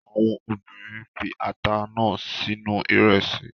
Àwọn obìnrin fi ata náà sínú ìrẹsì